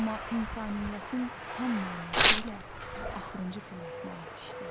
Amma insaniyyətin tam mənası ilə axırıncı pilləsinə yetişdi.